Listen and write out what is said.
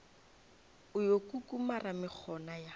o yo kukumara mekgona ya